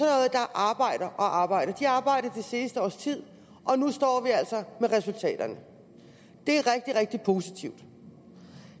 arbejder og arbejder de har arbejdet det seneste års tid og nu står vi altså med resultaterne det er rigtig rigtig positivt